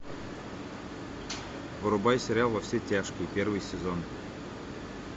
врубай сериал во все тяжкие первый сезон